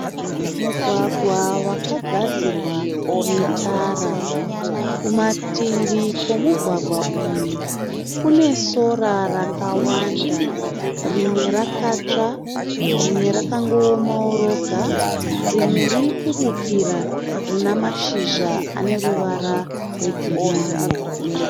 Mugwagwa wakagadzirwa netara. Kumativi kwomugwagwa uyu kune sora rakawanda rimwe rakatsva, rimwe rakangoomawo roga rimwe rurikubukira rina mashizha ane ruvara rwegirini.